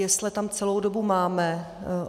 Jesle tam celou dobu máme.